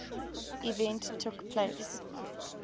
event took place